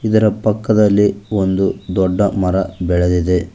ಇದರ ಪಕ್ಕದಲ್ಲಿ ಒಂದು ದೊಡ್ಡ ಮರ ಬೆಳದಿದೆ.